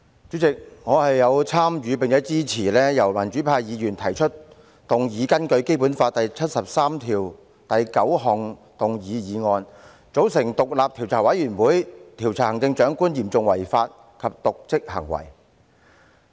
主席，我有份參與提出，並支持民主派議員根據《基本法》第七十三條第九項動議的議案，要求組成獨立調查委員會，調查行政長官嚴重違法及瀆職行為。